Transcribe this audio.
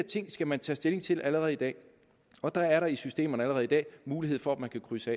ting skal man tage stilling til allerede i dag og der er der i systemerne allerede i dag mulighed for at man kan krydse